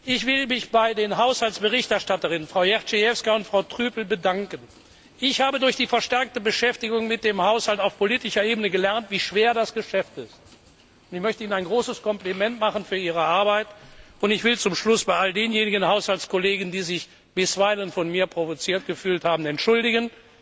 Ich will mich bei den Haushaltsberichterstatterinnen, Frau Jędrzejewska und Frau Trüpel, bedanken. Ich habe durch die verstärkte Beschäftigung mit dem Haushalt auf politischer Ebene gelernt, wie schwer das Geschäft ist. Ich möchte Ihnen ein großes Kompliment für Ihre Arbeit machen. Zum Schluss will ich mich bei all denjenigen Haushaltskollegen, die sich bisweilen von mir provoziert gefühlt haben, entschuldigen.